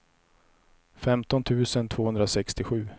femton tusen tvåhundrasextiosju